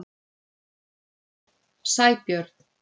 Sæbjörn